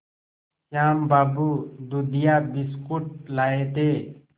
श्याम बाबू दूधिया बिस्कुट लाए थे